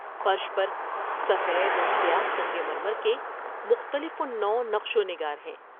فرش پر سفید اور سیاہ سنگ مرمر کے مختلف النوع نقش و نگار ہیں۔